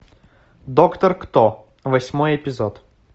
доктор кто восьмой эпизод